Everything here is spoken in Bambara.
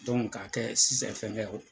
k'a kɛ sisa fɛngɛ o.